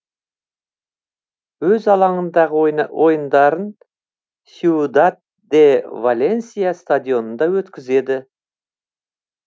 өз алаңындағы ойындарын сьюдад де валенсия стадионында өткізеді